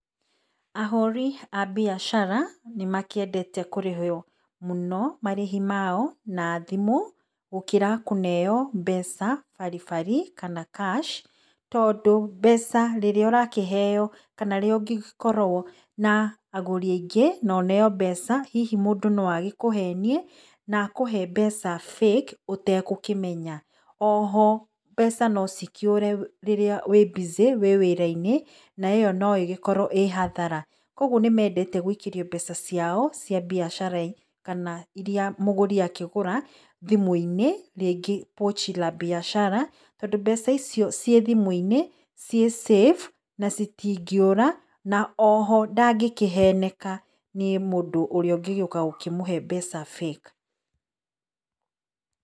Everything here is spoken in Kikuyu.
Ahũri a mbiacara nĩ makĩrndete kũrĩho mũno marĩhi mao na thimũ gũkĩra kũneo mbeca baribari kana cash, tondũ mbeca rĩrĩa ũrakĩheo kana rĩrĩa ũngĩgĩkorwo na agũri aingĩ na ũneo mbeca hihi mũndũ no agĩkũhenie na kũhe mbeca fake ũtagũkĩmenya. Oho mbeca nocikĩũre rĩrĩa wĩ busy rĩrĩa wĩ wĩra-inĩ na ĩyo no ĩgĩkorwo ĩ hathara. Koguo nĩmendete gũikĩrio mbeca ciao cia mbiacara kana irĩa mũgũri akĩgũra thimũ-inĩ, rĩngĩ pochi la biashara, tondũ mbeca icio ciĩ thimũ-inĩ ciĩ cĩbu na itingĩũra oho ndangĩkĩheneka nĩ mũndũ ũrĩa angĩgĩũka gũkĩmũhe mbeca fake.